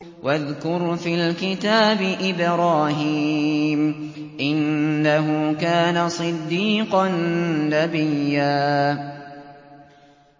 وَاذْكُرْ فِي الْكِتَابِ إِبْرَاهِيمَ ۚ إِنَّهُ كَانَ صِدِّيقًا نَّبِيًّا